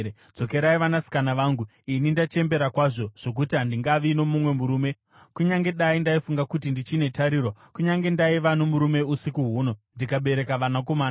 Dzokerai, vanasikana vangu; ini ndachembera kwazvo zvokuti handingavi nomumwe murume. Kunyange dai ndaifunga kuti ndichine tariro, kunyange ndaiva nomurume usiku huno ndikabereka vanakomana,